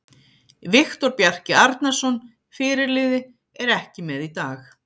Viktor Bjarki Arnarsson, fyrirliði, er ekki með í dag.